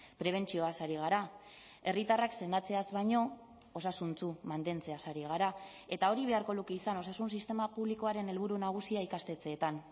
prebentzioaz ari gara herritarrak sendatzeaz baino osasuntsu mantentzeaz ari gara eta hori beharko luke izan osasun sistema publikoaren helburu nagusia ikastetxeetan